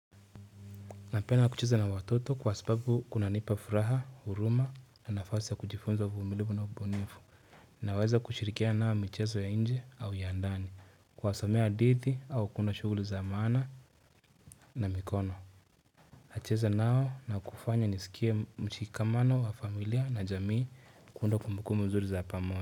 Napenda kucheza na watoto kwa sababu kuna nipa furaha, huruma na nafasi ya kujifunza uvumilivu na ubunifu. Naweza kushirikiana nao michezo ya inje au ya ndani. Kuwasomea hadithi au kuunda shughuli za maana na mikono. Nacheza nao na kufanya nisikie mchikamano wa familia na jamii kuunda kumbukumbu nzuri za pamoja.